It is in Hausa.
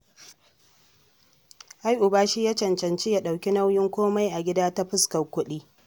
Ai uba shi ya cancanci ya ɗauki nauyin komai a gida ta fuskar kuɗi